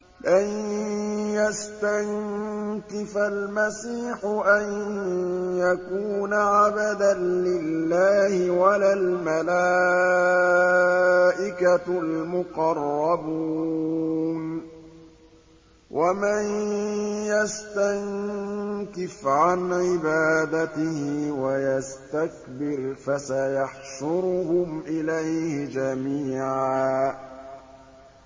لَّن يَسْتَنكِفَ الْمَسِيحُ أَن يَكُونَ عَبْدًا لِّلَّهِ وَلَا الْمَلَائِكَةُ الْمُقَرَّبُونَ ۚ وَمَن يَسْتَنكِفْ عَنْ عِبَادَتِهِ وَيَسْتَكْبِرْ فَسَيَحْشُرُهُمْ إِلَيْهِ جَمِيعًا